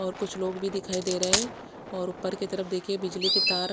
और कुछ लोग भी दिखाई दे रहे है और उपर की तरफ देखिये बिजली के तार--